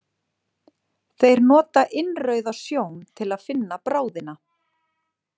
Þeir nota innrauða sjón til að finna bráðina.